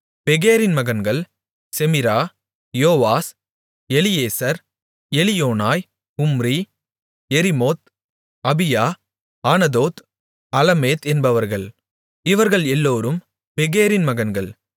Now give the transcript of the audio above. பெகேரின் மகன்கள் செமிரா யோவாஸ் எலியேசர் எலியோனாய் உம்ரி யெரிமோத் அபியா ஆனதோத் அலமேத் என்பவர்கள் இவர்கள் எல்லோரும் பெகேரின் மகன்கள்